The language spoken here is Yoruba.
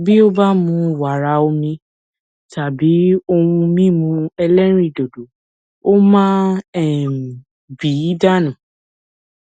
pft yoo sọ fun ọ nipa iwongba ti arun naa ati itọju da lori iwongba